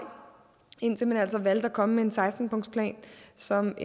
indtil man altså valgte at komme med en seksten punktsplan som